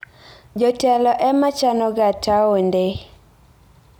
Jotelo e ma chanoga taonde.